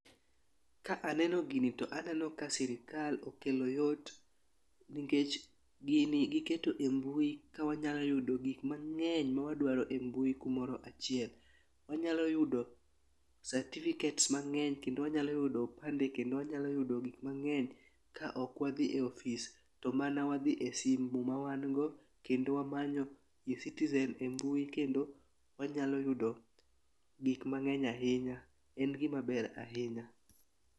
Ka aneno gini to aneno ka sirikal okelo yot nikech gini giketo e mbui ka wanyalo yudo gik mang'eny mawadwaro e mbui kumoro achiel, wanyalo yudo sativikets mang'eny kendo wanyalo yudo opande kendo wanyalo yudo gik mang'eny ka ok wadhi e ofis, to mana wadhi e simu ma wan go kendo wamanyo e citizen e mbui, kendo wanyalo yudo gik mang'eny ahinya. En gimaber ahinya.